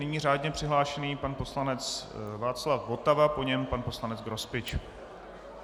Nyní řádně přihlášený pan poslanec Václav Votava, po něm pan poslanec Grospič.